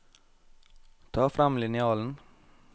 Ta frem linjalen